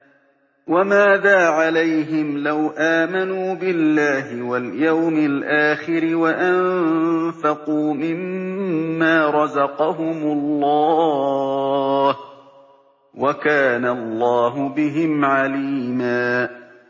وَمَاذَا عَلَيْهِمْ لَوْ آمَنُوا بِاللَّهِ وَالْيَوْمِ الْآخِرِ وَأَنفَقُوا مِمَّا رَزَقَهُمُ اللَّهُ ۚ وَكَانَ اللَّهُ بِهِمْ عَلِيمًا